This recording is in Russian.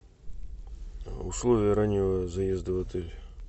условия раннего заезда в отель